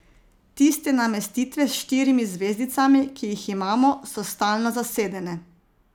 Tiste namestitve s štirimi zvezdicami, ki jih imamo, so stalno zasedene.